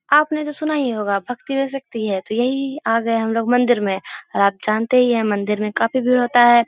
आपने तो सुना ही होगा भक्ति में शक्ति है तो यहीं आ गये हम लोग मंदिर में और आप जानते ही है मंदिर में काफी भीड़ होता है।